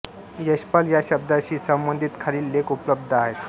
यशपाल या शब्दाशी संबंधित खालील लेख उपलब्ध आहेत